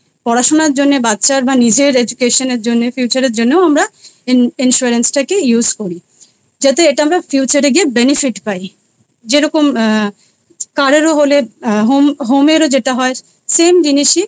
পড়াশোনার জন্যে বাচ্চা বা নিজের Education এর জন্য future এর জন্যেও আমরা Insurance টাকে Use করি। যাতে এটা আমরা Future এ গিয়েBenefit পাই। যেরকম আ কারোর হলে Home এর যেটা হয় Same জিনিসই